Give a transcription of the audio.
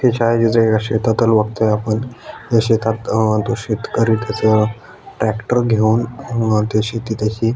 छायाचित्र एका शेतातल बगतोय आपण या शेतात तो शेतकरी तो त्याचा ट्रॅक्टर घेऊन मळतोय शेती तशी.